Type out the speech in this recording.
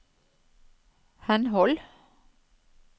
henhold